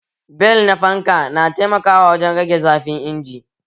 Bel na fanka na taimaka wajen rage zafin injin